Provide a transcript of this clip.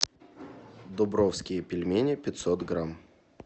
дубровские пельмени пятьсот грамм